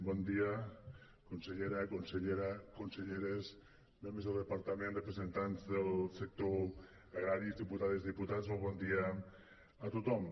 bon dia consellera conselleres membres del departament representants del sector agrari diputades diputats molt bon dia a tothom